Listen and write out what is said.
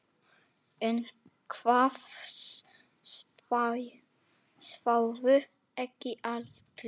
En það sváfu ekki allir.